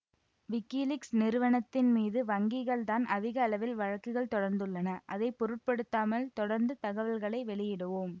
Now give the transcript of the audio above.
WikiLeaks நிறுவனத்தின் மீது வங்கிகள்தான் அதிகளவில் வழக்குகள் தொடர்ந்துள்ளன அதை பொருட்படுத்தாமல் தொடர்ந்து தகவல்களை வெளியிடுவோம்